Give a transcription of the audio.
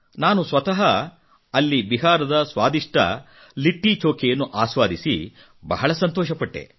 ನಾನು ಸ್ವತಃ ಅಲ್ಲಿ ಬಿಹಾರದ ಸ್ವಾದಿಷ್ಟ ಲಿಟ್ಟಿ ಚೋಖೆಯನ್ನು ಆಸ್ವಾದಿಸಿ ಬಹಳ ಸಂತೋಷಪಟ್ಟೆ